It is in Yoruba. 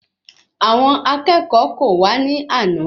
Àwọn akẹ́kọ̀ọ́ kò wa ní àna